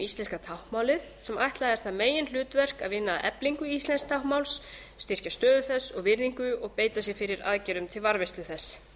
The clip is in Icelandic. íslenska táknmálið sem ætlað er það meginhlutverk að vinna að eflingu íslensks táknmáls styrkja stöðu þess og virðingu og beita sér fyrir aðgerðum til varðveislu þess